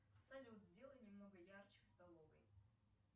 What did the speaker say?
салют сделай немного ярче в столовой